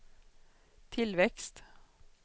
tillväxt